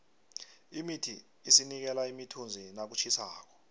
imithi isinikela imithunzi nakutjhisako